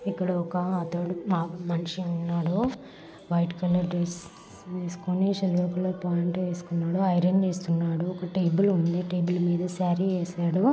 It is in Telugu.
ఇక్కడ ఒక అతడు మా_మనిషి ఉన్నాడు. వైట్ కలర్ డ్రెస్ వేసుకొని సిల్వర్ కలర్ ప్యాంట్ వేసుకొని ఉన్నాడు. ఐరన్ చేస్తున్నాడు. ఒక టేబుల్ ఉంది. టేబుల్ మీద సారి ఏసాడు.